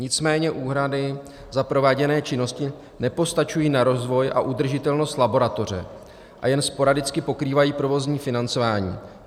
Nicméně úhrady za prováděné činnosti nepostačují na rozvoj a udržitelnost laboratoře a jen sporadicky pokrývají provozní financování.